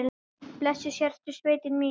Blessuð sértu sveitin mín!